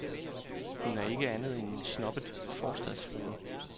Hun er ikke andet end en snobbet forstadsfrue.